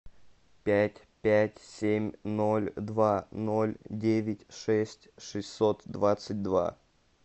пять пять семь ноль два ноль девять шесть шестьсот двадцать два